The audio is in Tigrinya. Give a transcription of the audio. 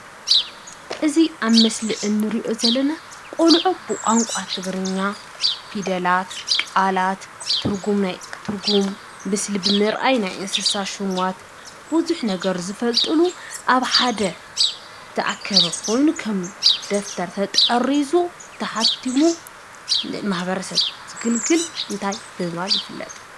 እዚ ኣብ ምስሊ እንሪኦ ዘለና ቆልዑ ብቋንቋ ትግርኛ ፊደላት፣ ቃላት ትርጉም ምስሊ ብምርኣይ ናይ እንስሳ ሹማት ብዙሕ ነገር ዝፈልጥሉ ኣብ ሓደ ተኣከበ ኾይኑ ከም ደፍተር ተጠሪዙ፣ ተሓቲሙ ማሕበረሰብ ዘገልግል እንታይ ብምባል ይፍለጥ?